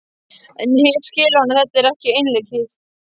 En hitt skilur hann að þetta er ekki einleikið.